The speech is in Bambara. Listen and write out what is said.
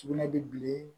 Sugunɛ bilen